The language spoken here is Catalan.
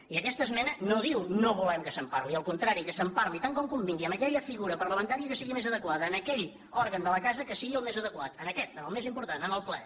i aquesta esmena no diu no volem que se’n parli al contrari que se’n parli tant com convingui amb aquella figura parlamentària que sigui més adequada en aquell òrgan de la casa que sigui el més adequat en aquest en el més important en el ple